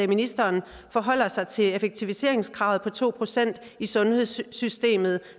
ministeren forholder sig til effektiviseringskravet på to procent i sundhedssystemet